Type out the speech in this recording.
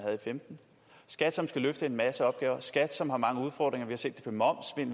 og femten skat som skal løfte en masse opgaver skat som har mange udfordringer vi har set